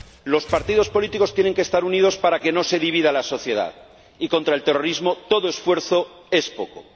Los partidos políticos tienen que estar unidos para que no se divida la sociedad. Y contra el terrorismo, todo esfuerzo es poco.